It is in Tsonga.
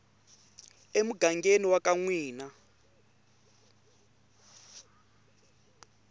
emugangeni wa ka n wina